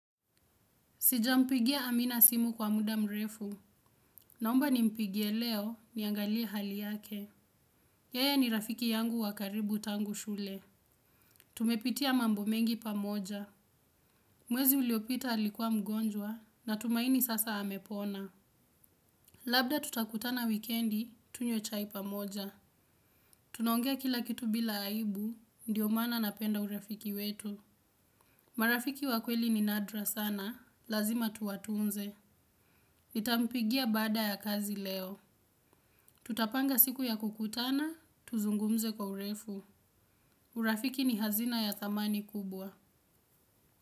Sijampigia amina simu kwa muda mrefu. Naomba nimpigie leo niangalia hali yake. Yeye ni rafiki yangu wa karibu tangu shule. Tumepitia mambo mengi pamoja. Mwezi uliopita alikua mgonjwa natumaini sasa hamepona. Labda tutakutana wikendi tunywe chai pamoja. Tunaongea kila kitu bila aibu, ndiyo mana napenda urafiki wetu. Marafiki wakweli ni nadra sana, lazima tuwatunze. Nita mpigia bada ya kazi leo. Tutapanga siku ya kukutana, tuzungumze kwa urefu. Urafiki ni hazina ya thamani kubwa.